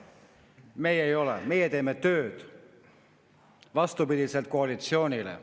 Meie ei ole, meie teeme tööd, vastupidiselt koalitsioonile.